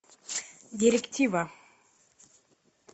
директива